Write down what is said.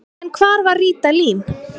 En hvar var Ríta Lín?